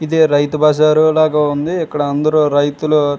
ఇది రైతు బజార్ లాగా ఉన్నది ఇక్కడ అందరు రైతులు --